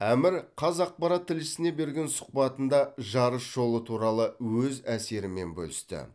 әмір қазақпарат тілшісіне берген сұхбатында жарыс жолы туралы өз әсерімен бөлісті